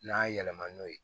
N'a yɛlɛma n'o ye